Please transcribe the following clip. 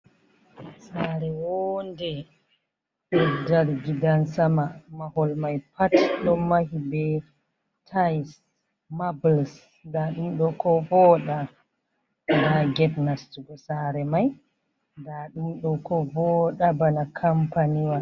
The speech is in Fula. Sare wonɗe, ɗoɗ ɗari gidan sama. Mahol mai pat ɗon mahi ɓe tail, mabuls. Nɗa ɗum ɗo ko voiɗa. Nɗa get nastugo sare mai. Nɗa ɗum ɗo ko vooɗa ɓana kampaniwa.